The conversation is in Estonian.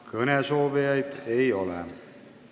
Kõnesoovijaid ei ole.